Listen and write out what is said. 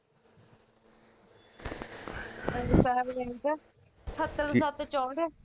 ਲਿਖ ਠੱਤਰ ਸੱਤ ਚੋਹਟ